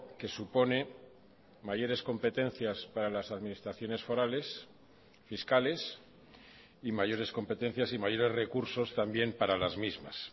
que supone mayores competencias para las administraciones forales fiscales y mayores competencias y mayores recursos también para las mismas